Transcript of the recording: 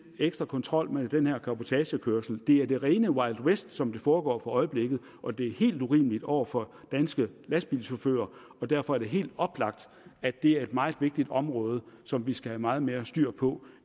ekstra kontrol med den her cabotagekørsel det er det rene wild west som det foregår for øjeblikket og det er helt urimeligt over for danske lastbilchauffører og derfor er det helt oplagt at det er et meget vigtigt område som vi skal have meget mere styr på